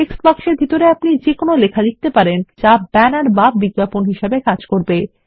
text box এর ভিতরে আপনি যে কোনো লেখা লিখতে পারেন যা একটি ব্যানার বা বিজ্ঞাপন হিসেবে কাজ করবে